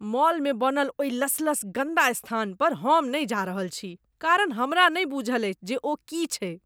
मॉलमे बनल ओहि लसलस गन्दा स्थान पर हम नहि जा रहल छी कारण हमरा नहि बूझल अछि जे ओ की छैक।